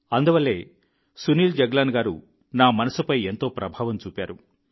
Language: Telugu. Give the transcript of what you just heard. అందువల్లే సునీల్ జగ్లాన్ గారు నా మనస్సుపై ఎంతో ప్రభావం చూపారు